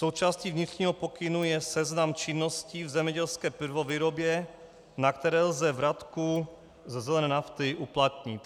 Součástí vnitřního pokynu je seznam činností v zemědělské prvovýrobě, na které lze vratku ze zelené nafty uplatnit.